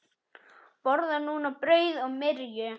Borðar núna brauð og myrju.